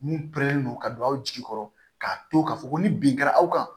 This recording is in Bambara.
Mun perelen don ka don aw jigi kɔrɔ k'a to k'a fɔ ko ni bin kɛra aw kan